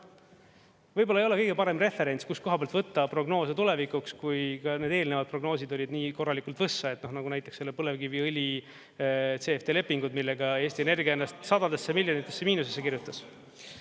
Võib-olla ei ole kõige parem referents, kustkohast võtta prognoose tulevikuks, kui need eelnevad prognoosid olid nii korralikult võssa, nagu näiteks selle põlevkiviõli CfD lepingud, millega Eesti Energia ennast sadadesse miljonitesse miinusesse kirjutas.